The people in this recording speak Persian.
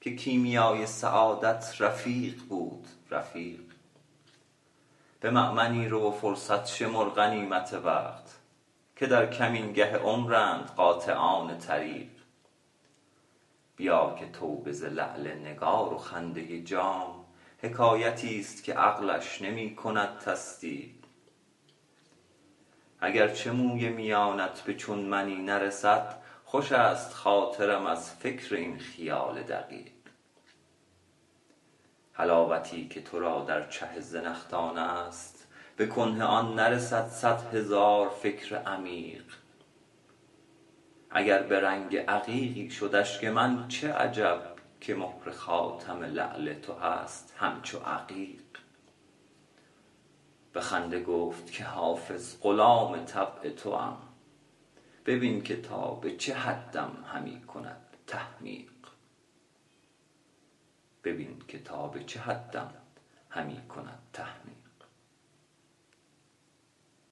که کیمیای سعادت رفیق بود رفیق به مأمنی رو و فرصت شمر غنیمت وقت که در کمینگه عمرند قاطعان طریق بیا که توبه ز لعل نگار و خنده جام حکایتی ست که عقلش نمی کند تصدیق اگر چه موی میانت به چون منی نرسد خوش است خاطرم از فکر این خیال دقیق حلاوتی که تو را در چه زنخدان است به کنه آن نرسد صد هزار فکر عمیق اگر به رنگ عقیقی شد اشک من چه عجب که مهر خاتم لعل تو هست همچو عقیق به خنده گفت که حافظ غلام طبع توام ببین که تا به چه حدم همی کند تحمیق